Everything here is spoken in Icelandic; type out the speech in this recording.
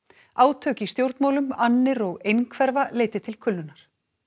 átök í stjórnmálum annir og einhverfa leiddi til kulnunar